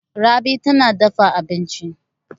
Rabi tana dafa abinci.